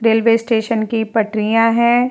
Railway station की पटरियां हैं।